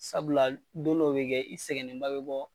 Sabula don dɔw bɛ kɛ i sɛgɛnnenba bɛ bɔ.